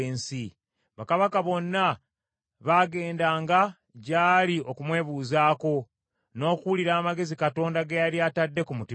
Bakabaka bonna baagendanga gyali okumwebuuzaako, n’okuwulira amagezi Katonda ge yali atadde mu mutima gwe.